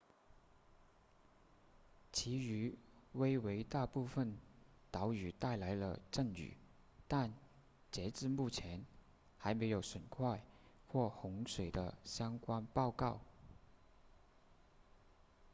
其余威为大部分岛屿带来了阵雨但截至目前还没有损坏或洪水的相关报告